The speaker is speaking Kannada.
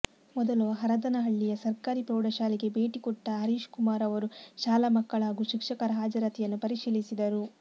ಮೊದಲು ಹರದನಹಳ್ಳಿಯ ಸರ್ಕಾರಿ ಪ್ರೌಢಶಾಲೆಗೆ ಭೇಟಿ ಕೊಟ್ಟ ಹರೀಶ್ ಕುಮಾರ್ ಅವರು ಶಾಲಾ ಮಕ್ಕಳ ಹಾಗೂ ಶಿಕ್ಷಕರ ಹಾಜರಾತಿಯನ್ನು ಪರಿಶೀಲಿಸಿದರು